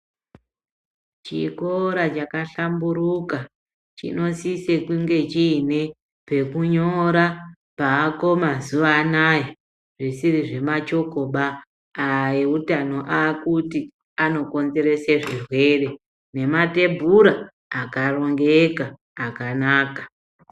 Chikora cha hlamburuka chinosise kunge chiine pekunyora paako mazuva anaya zvisiri zvemachokoba, aya eutano aakuti anokonzerese zvirwere, nematebhura akarongeka akanaka.